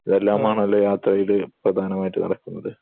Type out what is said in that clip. ഇതെല്ലാമാണല്ലോ യാത്രയിൽ പ്രധാനമായിട്ട് നടക്കുന്നത്